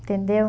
Entendeu?